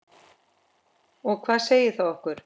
Og hvað segir það okkur?